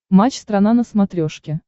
матч страна на смотрешке